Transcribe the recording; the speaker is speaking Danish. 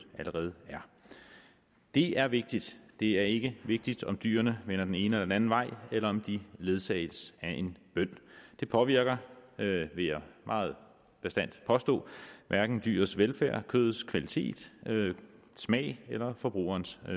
allerede er det er vigtigt det er ikke vigtigt om dyrene vender den ene eller den anden vej eller om de ledsages af en bøn det påvirker vil jeg meget bastant påstå hverken dyrenes velfærd kødets kvalitet og smag eller forbrugerens